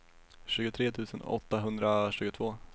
tjugotre tusen åttahundratjugotvå